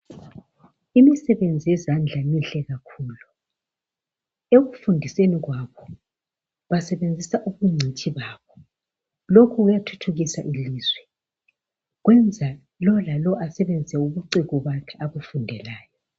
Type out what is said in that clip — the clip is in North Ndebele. Imsebenzi yezandla mihle kakhulu. Ekufundiseni kwakho, basebenzisa ubungcitshi babo. Lokhu kuyathuthukisa ilizwe, kwenza lowu lalowu asebenze ubuciko bakho abufundelayo.